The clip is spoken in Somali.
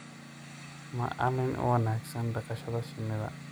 Maalin u wanaagsan dhaqashada shinnida.